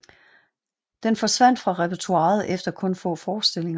Den forsvandt fra repertoiret efter kun få forestillinger